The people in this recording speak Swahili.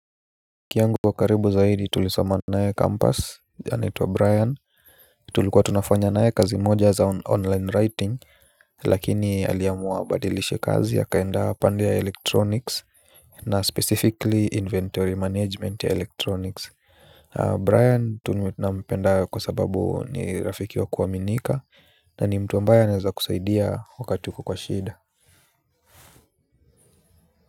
Rafiki yangu wa karibu zaidi tulisoma nae 'campus' anitwa Brian. Tulikuwa tunafanya naye kazi moja za 'online writing' lakini aliamua abadilishe kazi akaenda pande ya 'electronics'. Na 'specifically inventory management' ya 'electronics' Brian nampenda kwa sababu ni rafiki wa kuaminika na ni mtu ambaye aneza kusaidia wakati uko kwa shida.